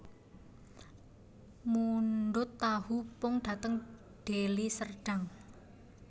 Mundhut tahu pong dhateng Deli Serdang